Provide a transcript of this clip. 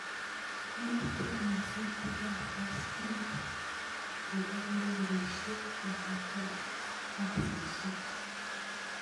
Mitei nyasutikab boskilit, che lorisiek bodaboda ak basisiek